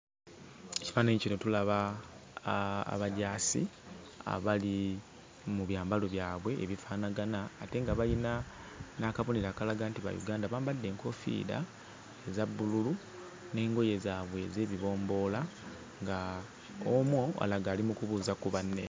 Ekifaananyi kino tulaba aa abajaasi abali mu byambalo byabwe ebifaanagana ate nga bayina n'akabonero akalaga nti ba Uganda. Bambadde enkoofiira eza bbululu n'engoye zaabwe ez'ebibomboola, ng'omu alaga ali mu kubuuza ku banne.